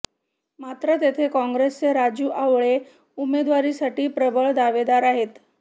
मात्र तेथे काँग्रेसचे राजू आवळे उमेदवारीसाठी प्रबळ दावेदार आहेत